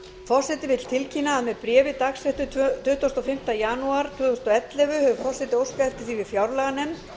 forseti vill tilkynna að með bréfi dagsettu tuttugasta og fimmta janúar tvö þúsund og ellefu hefur forseti óskað eftir því við fjárlaganefnd